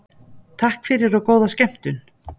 Takk fyrir og góða skemmtun.